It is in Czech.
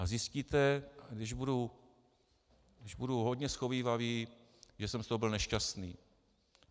A zjistíte, když budu hodně shovívavý, že jsem z toho byl nešťastný.